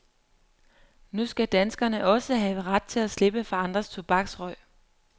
Nu skal danskerne også have ret til at slippe for andres tobaksrøg.